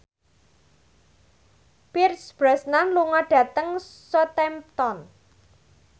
Pierce Brosnan lunga dhateng Southampton